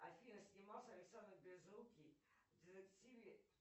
афина снимался александр безрукий в детективе